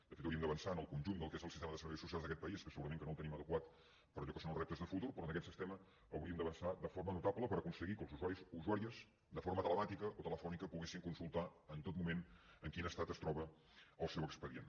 de fet hauríem d’avançar en el conjunt del que és el sistema de serveis socials d’aquest país que segurament que no el tenim adequat per allò que són els reptes de futur però en aquest sistema hauríem d’avançar de forma notable per aconseguir que els usuaris o usuàries de forma telemàtica o telefònica poguessin consultar en tot moment en quin estat es troba el seu expedient